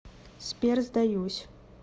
сбер сдаюсь